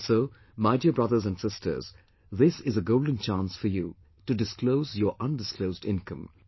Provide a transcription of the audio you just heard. And so my dear brothers and sisters, this is a golden chance for you to disclose your undisclosed income